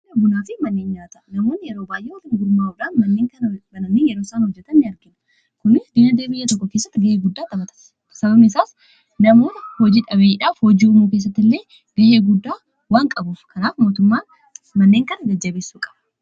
manneen nyaata namoon yeroo baayee walittigurmaa'uudhaan bananii yeroo isaan hojjetanni argina, kuni diinagdee biyya tokko kessatti ga'eeguddaa qabasababmn isaas namoonni hojii dhabeeyyiidhaaf hojii umuu keessatti illee gay'eeguddaa waan qabuuf kanaaf mootummaa manneen kana jajjabessuu qaba